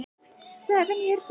Ekki bara sumt.